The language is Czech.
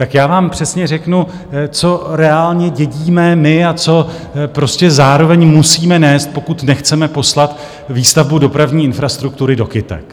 Tak já vám přesně řeknu, co reálně dědíme my a co prostě zároveň musíme nést, pokud nechceme poslat výstavbu dopravní infrastruktury do kytek.